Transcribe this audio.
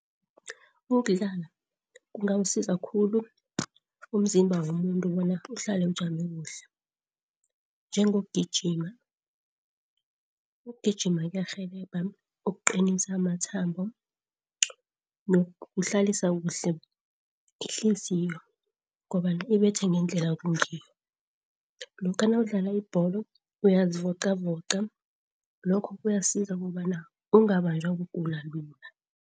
Ukudlala kungawusiza khulu umzimba womuntu bona uhlale ujame kuhle, njengokugijima. Ukugijima kuyarhelebha ukuqinisa amathambo nokuhlalisa kuhle ihliziyo kobana ibethe ngendlela kungiyo. Lokha nawudlala ibholo uyazivocavoca lokho kuyasiza kobana ungabanjwa kugula lula.